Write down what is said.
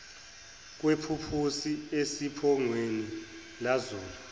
kwephuphusi esiphongweni lazula